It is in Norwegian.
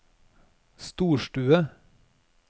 storstue